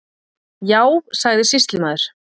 Já, sagði sýslumaður.